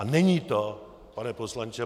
A není to, pane poslanče